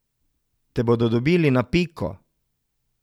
Te bodo dobili na piko.